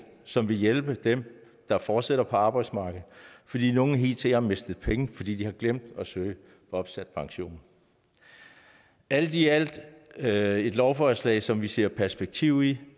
som vil hjælpe dem der fortsætter på arbejdsmarkedet fordi nogle hidtil har mistet penge fordi de har glemt at søge opsat pension alt i alt er det et lovforslag som vi ser perspektiv i